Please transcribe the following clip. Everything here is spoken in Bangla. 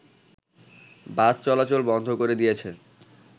বাস চলাচল বন্ধ করে দিয়েছে